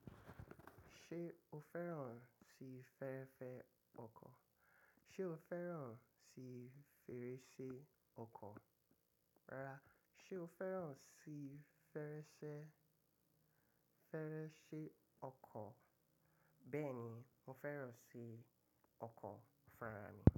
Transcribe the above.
Ṣé o fẹ́ràn sí fẹ́rẹ́fẹ́ ọkọ̀? Ṣé o fẹ́ràn sí fèrèsé ọkọ̀? Rárá, ṣé o fẹ́ràn sí fèrèsé, fèrèsé ọkọ̀? Bẹ́ẹ̀ ni, mo fẹ́ràn sí ọkọ̀ farami.